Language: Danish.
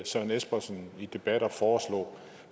søren espersen i debatter foreslå